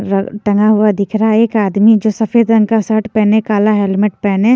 रग़ टंगा हुआ दिख रहा है एक आदमी जो सफेद रंग का शर्ट पहने काला हेलमेट पहने --